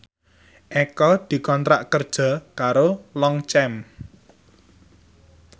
Eko dikontrak kerja karo Longchamp